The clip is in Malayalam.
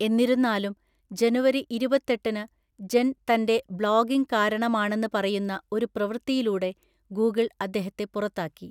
എന്നിരുന്നാലും, ജനുവരി ഇരുപത്തെട്ടിനു, ജെൻ തന്‍റെ ബ്ലോഗിംഗ് കാരണമാണെന്ന് പറയുന്ന ഒരു പ്രവൃത്തിയിലൂടെ ഗൂഗിൾ അദ്ദേഹത്തെ പുറത്താക്കി.